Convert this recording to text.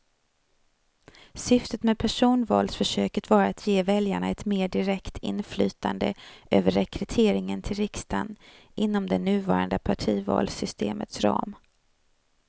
Syftet med personvalsförsöket var att ge väljarna ett mer direkt inflytande över rekryteringen till riksdagen inom det nuvarande partivalssystemets ram.